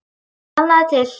Sannaðu til.